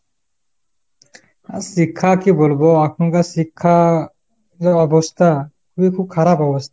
আহ শিক্ষা কি বলবো ? এখনকার শিক্ষা যা অবস্থা খুব খারাপ অবস্থা।